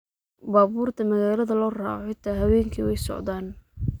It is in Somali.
Baburta magalada looraco xita hawenki way socdan.